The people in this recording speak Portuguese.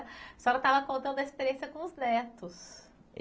A senhora estava contando a experiência com os netos.